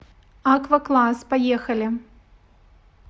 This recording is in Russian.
аквакласс поехали